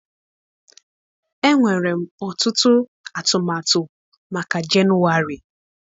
Enwere m ọtụtụ atụmatụ maka Jenụwarị.